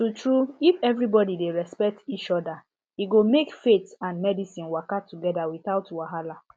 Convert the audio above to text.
truetrue if everybody dey respect each other e go make faith and medicine waka together without wahala